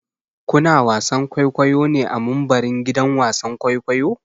Ku na wasan kwaikwayo ne a mumbarin gidan wasan kwaikwayo?